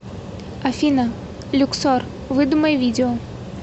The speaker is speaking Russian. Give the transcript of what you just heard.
афина люксор выдумай видео